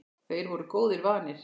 Þeir voru góðu vanir.